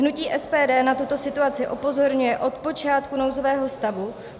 Hnutí SPD na tuto situaci upozorňuje od počátku nouzového stavu.